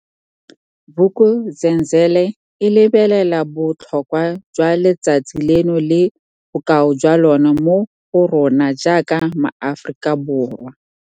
Vuk'uzenzele e lebelela bo tlhokwa jwa letsatsi leno le bokao jwa lona mo go rona jaaka maAforika Borwa.